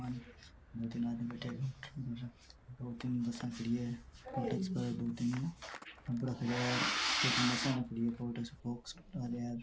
दो तीन आदमी बैठे है दो तीन बसे खड़ी है और इस पर दो तीन है छोटा सा बॉक्स है।